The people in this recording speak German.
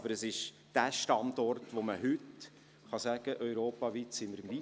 Aber wir sind der Standort, von welchem man sagen kann, man sei europaweit am weitesten.